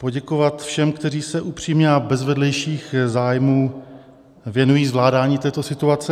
Poděkovat všem, kteří se upřímně a bez vedlejších zájmů věnují zvládání této situace.